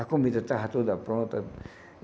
A comida estava toda pronta.